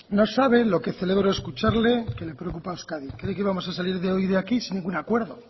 no sabe lo que celebro escucharle que le preocupa euskadi creí que íbamos a salir hoy de aquí sin ningún acuerdo